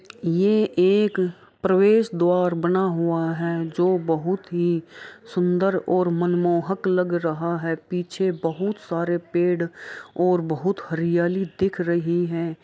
यह एक प्रवेशद्वार बना हुआ है जो बहोत ही सुंदर और मनमोहक लग रहा है पीछे बहुत सारे पेड़ और बहुत हरियाली देख रही है।